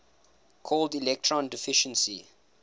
called electron deficiency